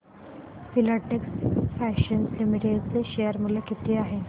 Filatex Fashions Limited चे share मूल्य किती आहे